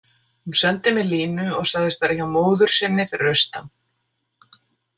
Hún sendi mér línu og sagðist vera hjá móður sinni fyrir austan.